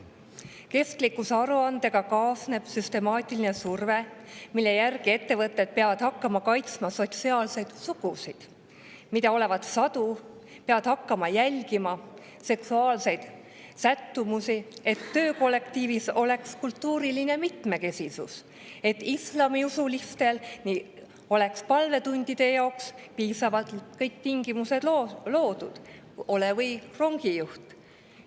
Kestlikkusaruandega kaasneb süstemaatiline surve, mille tõttu ettevõtted peavad hakkama kaitsma sotsiaalseid sugusid, mida olevat sadu; peavad hakkama jälgima seksuaalseid sättumusi, et töökollektiivis oleks kultuuriline mitmekesisus; islamiusulistele peavad palvetundide jaoks olema loodud kõik tingimused, olgu tegemist või rongijuhtidega.